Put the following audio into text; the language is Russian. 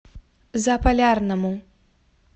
заполярному